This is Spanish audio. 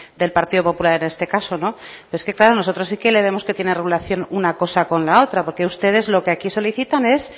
del partido popular en este caso pero es que claro nosotros sí que le vemos que tiene relación una cosa con la otra porque ustedes lo que aquí solicitan es